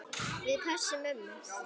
Við pössum mömmu.